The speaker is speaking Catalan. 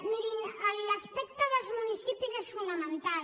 mirin l’aspecte dels municipis és fonamental